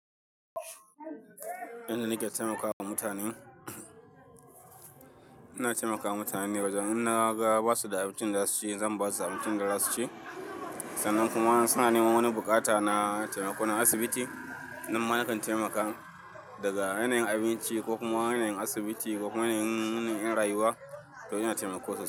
Inda na iya taimakawa mutane, ina taimakawa mutane. Wajen in naga ba su da abincin da za su ci, zan ba su abincin da za su ci. Sannan kuma suna neman wani buƙata na taimako na asibiti, nan ma na kan taimaka daga yanayin abinci ko kuma yanayin asibiti ko kuma yanayin, yanayin rayuwa, to ina taimako sosai.